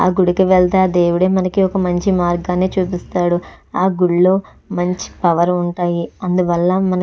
ఆ గుడికి వెళ్తే అ దేవుడే మనకి ఒక మంచి మార్గాన్ని చూపిస్తాడు ఆ గుళ్ళో మంచి పవర్ ఉంటది అందువల్ల మనకి --